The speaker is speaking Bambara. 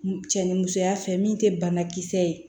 Cɛ ni musoya fɛ min te banakisɛ ye